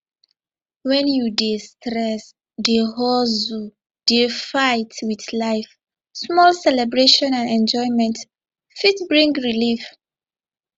when you dey stress dey hustle dey fight with life small celebration and enjoyment fit bring relief